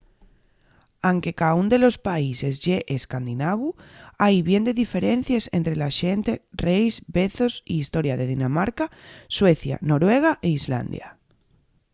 anque caún de los países ye escandinavu” hai bien de diferencies ente la xente reis vezos y historia de dinamarca suecia noruega y islandia